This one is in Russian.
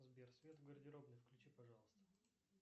сбер свет в гардеробной включи пожалуйста